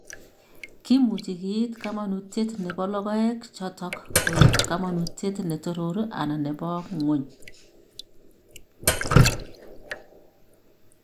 Kimuuchi kiit kamanuutyet ne po logoek chotok koek kamanuutyet ne Toroor anan ne bo Ng'wony .